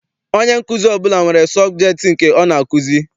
Onye nkuzi ọbụla nwere sọbjektị nke ọ na-akụzi.